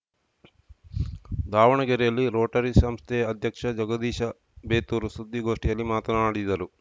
ದಾವಣಗೆರೆಯಲ್ಲಿ ರೋಟರಿ ಸಂಸ್ಥೆ ಅಧ್ಯಕ್ಷ ಜಗದೀಶ ಬೇತೂರು ಸುದ್ದಿಗೋಷ್ಟಿಯಲ್ಲಿ ಮಾತನಾಡಿದರು